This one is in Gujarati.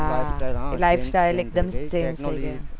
હા life style એકદમ change થઇ ગયી